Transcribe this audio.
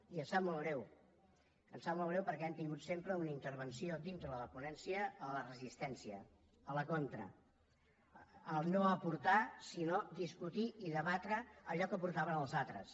i em sap molt greu em sap molt greu perquè han tingut sempre una intervenció dintre de la ponència a la resistència a la contra a no aportar sinó a discutir i a debatre allò que aportaven els altres